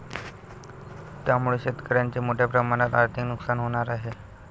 त्यामुळे शेतकऱ्यांचे मोठ्या प्रमाणात आर्थिक नुकसान होणार आहे.